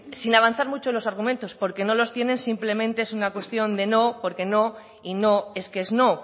sin avanzar mucho en los argumentos porque no los tienen simplemente es una cuestión de no porque no y no es que es no